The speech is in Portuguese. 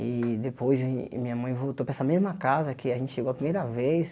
E depois de minha mãe voltou para essa mesma casa que a gente chegou a primeira vez.